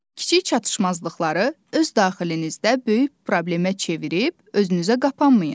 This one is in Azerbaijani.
Kiçik çatışmazlıqları öz daxilinizdə böyük problemə çevirib özünüzə qapanmayın.